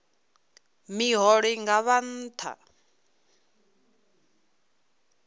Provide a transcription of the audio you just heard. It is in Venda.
miholo i nga vha nṱha